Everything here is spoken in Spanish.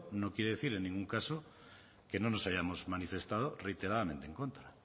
no quiere decir en ningún caso que no nos hayamos manifestado reiteradamente en contra